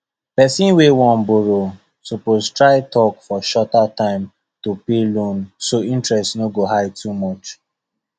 person wey wan borrow suppose try talk for shorter time to pay loan so interest no go high too much